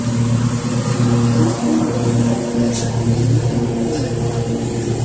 कुछ दिन रेकी करने के बाद अनिल सोनी से लूटपाट की